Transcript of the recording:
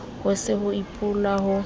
ho se ho apolwa ho